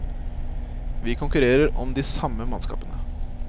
Vi konkurrerer om de samme mannskapene.